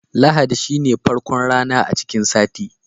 Lahadi shine farkon rana a cikin sati.